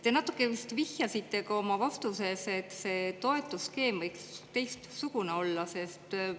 Te natuke vist vihjasite ka oma vastuses, et see toetusskeem võiks teistsugune olla.